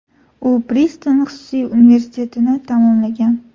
U Priston xususiy universitetini tamomlagan.